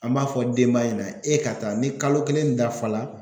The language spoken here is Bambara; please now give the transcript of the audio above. An b'a fɔ denba ɲɛna e ka taa ni kalo kelen dafa la